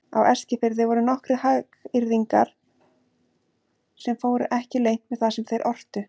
Á Eskifirði voru nokkrir hagyrðingar sem fóru ekki leynt með það sem þeir ortu.